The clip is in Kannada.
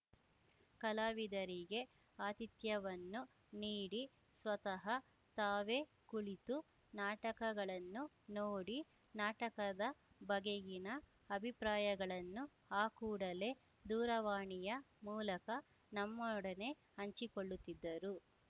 ಕಲಾವಿದರಿಗೆ ಆತಿಥ್ಯವನ್ನು ನೀಡಿ ಸ್ವತಃ ತಾವೇ ಕುಳಿತು ನಾಟಕಗಳನ್ನು ನೋಡಿ ನಾಟಕದ ಬಗೆಗಿನ ಅಭಿಪ್ರಾಯಗಳನ್ನು ಆ ಕೂಡಲೇ ದೂರವಾಣಿಯ ಮೂಲಕ ನಮ್ಮೊಡನೆ ಹಂಚಿಕೊಳ್ಳುತ್ತಿದ್ದರು